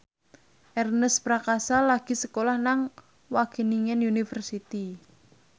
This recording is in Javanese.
Ernest Prakasa lagi sekolah nang Wageningen University